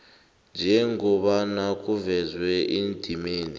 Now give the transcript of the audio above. njengobana kuvezwe endimeni